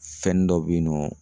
Fɛnnin dɔ bɛ yen nɔ